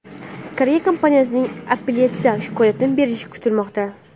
Koreya kompaniyasining apellyatsiya shikoyatini berishi kutilmoqda.